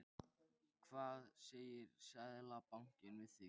Hvað segir Seðlabankinn við því?